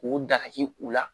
K'o dagaji u la